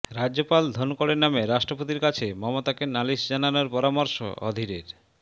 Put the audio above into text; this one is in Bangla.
রাজ্যপাল ধনকড়ের নামে রাষ্ট্রপতির কাছে মমতাকে নালিশ জানানোর পরামর্শ অধীরের